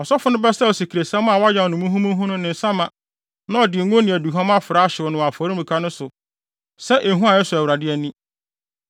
Ɔsɔfo no bɛsaw asikresiam a wɔayam no muhumuhu no ne nsa ma na ɔde ngo ne aduhuam afra ahyew no wɔ afɔremuka no so sɛ ehua a ɛsɔ Awurade ani.